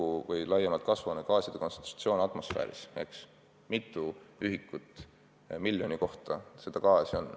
Tähtis on laiemalt kasvuhoonegaaside kontsentratsioon atmosfääris, mitu ühikut miljoni kohta neid gaase on.